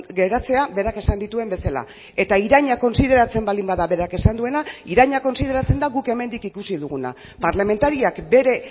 geratzea berak esan dituen bezala eta iraina kontsideratzen baldin bada berak esan duena iraina kontsideratzen da guk hemendik ikusi duguna parlamentariak bere